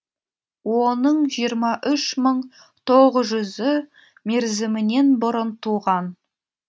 оның жиырма үш мың тоғыз жүзі мерзімінен бұрын туған